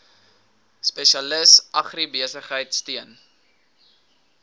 spesialis agribesigheid steun